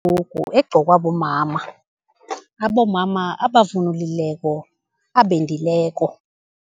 egqokwa bomama, abomma abavunulileko, abendileko.